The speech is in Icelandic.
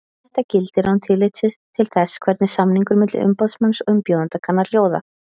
Þetta gildir án tillits til þess hvernig samningur milli umboðsmanns og umbjóðanda kann að hljóða.